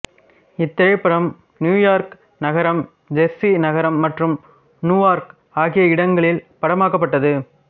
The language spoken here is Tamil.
இத்திரைப்படம் நியூயார்க்கு நகரம் செர்சி நகரம் மற்றும் நுவார்க் ஆகிய இடங்களில் படமாக்கப்பட்டது